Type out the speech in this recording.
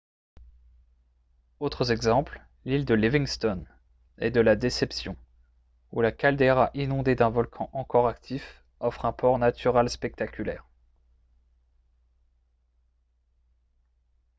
autres exemples l'île de livingston et de la déception où la caldeira inondée d'un volcan encore actif offre un port naturel spectaculaire